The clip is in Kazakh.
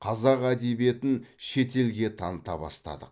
қазақ әдебиетін шет елге таныта бастадық